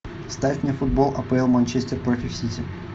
ставь мне футбол апл манчестер против сити